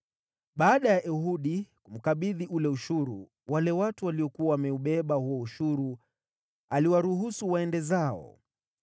Baada ya Ehudi kumkabidhi ule ushuru, wale watu waliokuwa wameubeba huo ushuru aliwaruhusu waende zao.